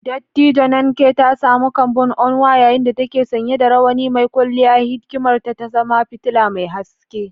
Dattijo Nneka ta samu kambun Onwa yayin da take sanye da rawani mai kwalliya, hikimarta ta zama fitila mai haske.